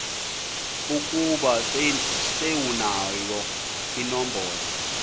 ukuba sewunayo inombolo